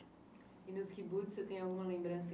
E nos kibbutz você tem alguma lembrança